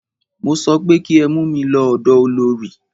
Mo sọ pé kí ẹ mú mí lọ ọ̀dọ olorì!